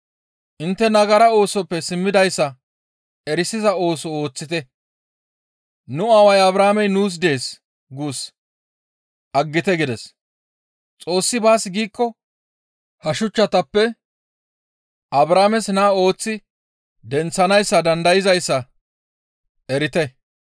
Intte nagara oosoppe simmidayssa erisiza ooso ooththite; ‹Nu aaway Abrahaamey nuus dees› guus aggite gides. ‹Xoossi baas giikko ha shuchchatappe Abrahaames naa ooththi denththanaas dandayzayssa erite›